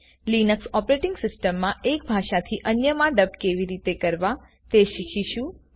Linux operating સિસ્ટમમાં એક ભાષામાંથી અન્યમાં ડબ કેવી રીતે કરવા તે શીખીશું